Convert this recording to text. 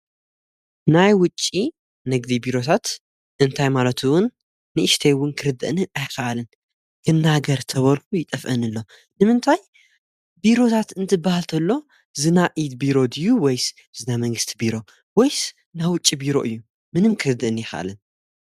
ናይ ውጭ ነግዲ ቢሮታት እንታይ ማለቱውን ንእሽተይውን ክርድእንን ኣይከኣልን ክናገር ተበርፉ ይጠፍአንኣሎ ንምንታይ ቢሮታት እንትበሃልንተሎ ዝና ኢድ ቢሮ ድዩ ወይስ ዝና መንግሥቲ ቢሮ ወይስ ና ውጭ ቢሮ እዩ ምንም ክርድእን የኸኣልን።